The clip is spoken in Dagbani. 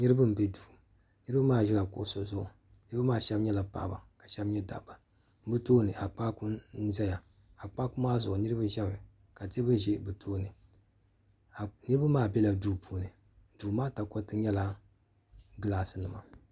niriba n bɛ do niriba maa ʒɛla kuɣisi zuɣ niriba maa shɛbi nyɛla paɣ' ba ka shɛbi nyɛ da ba be tuuni akpaku n zaya akpaku maa zuɣ niriba ʒɛmi ka tɛbuli ʒɛ be tuuni niriba maa bɛla do puuni do maa takoritɛ nyɛla gilasi nima